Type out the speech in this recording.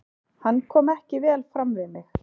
Hann kom ekki vel fram við mig.